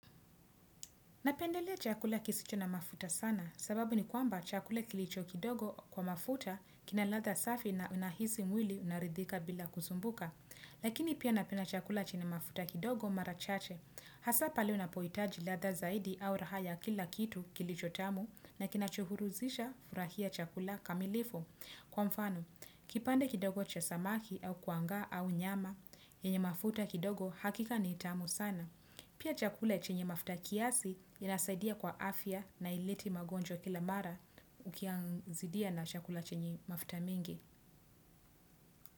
Napendelea chakula kisicho na mafuta sana sababu ni kwamba chakula kilicho kidogo kwa mafuta kina ladha safi na unahisi mwili unaridhika bila kusumbuka. Lakini pia napenda chakula chenye mafuta kidogo mara chache. Hasaa pale unapohitaji ladha zaidi au raha ya kila kitu kilicho tamu na kinachohuruzisha furahia chakula kamilifu. Kwa mfano, kipande kidogo cha samaki au kuangaa au nyama, yenye mafuta kidogo hakika ni tamu sana. Pia chakula chenye mafuta kiasi inasaidia kwa afya na haileti magonjwa kila mara ukiyazidia na chakula chenye mafuta mengi.